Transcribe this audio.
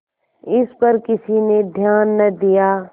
इस पर किसी ने ध्यान न दिया